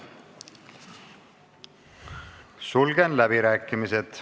Sulgen läbirääkimised.